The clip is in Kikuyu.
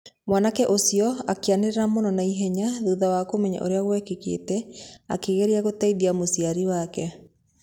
Mwanake ũcio akĩanĩrĩra mũno na ihenya thutha wa kũmenya ũrĩa gwekĩkĩte akĩgeragia gũteithia mũciari wake.